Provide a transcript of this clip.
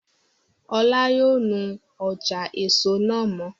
Ọlá yóò nu ọjà èso náà mọ́